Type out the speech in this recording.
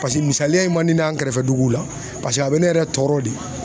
Paseke misaliya ye man di ne ye an kɛrɛfɛ duguw la paseke a bɛ ne yɛrɛ tɔɔrɔ de